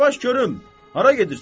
Yavaş görüm, hara gedirsən?